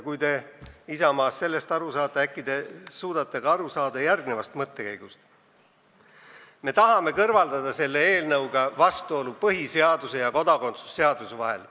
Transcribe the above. Kui te, Isamaa, sellest aru saate, äkki te suudate aru saada ka järgnevast mõttekäigust: me tahame selle eelnõuga kõrvaldada vastuolu põhiseaduse ja kodakondsuse seaduse vahel.